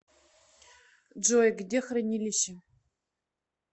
джой где хранилище